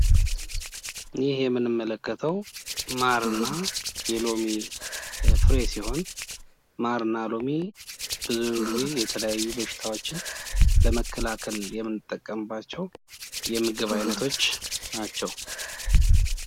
ይህ የምንመለከተው ማርና የሎሚ ፍሬ ሲሆን ፤ማርና ሎሚ ብዙውን ጊዜ የተለያዩ በሽታዎችን ለመከላከል ለመከላከል የምንጠቀምባቸው የምግብ አይነቶች ናቸው።